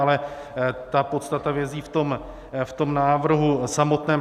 Ale ta podstata vězí v tom návrhu samotném.